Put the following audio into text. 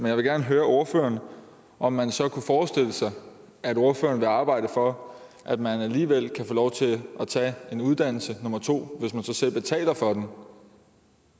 jeg vil gerne høre ordføreren om man så kunne forestille sig at ordføreren vil arbejde for at man alligevel kan få lov til at tage en uddannelse nummer to hvis man så selv betaler for den